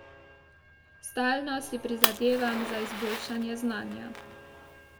Stalno si prizadevam za izboljšanje znanja.